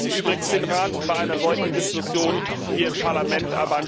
Ich vermisse übrigens den Rat bei einer solchen Diskussion hier im Parlament.